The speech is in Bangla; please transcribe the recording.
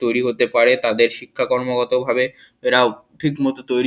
তৈরি হতে পারে। তাদের শিক্ষা কর্মগত ভাবে এরাও ঠিক মতো তৈরি--